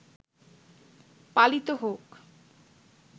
পালিত হোক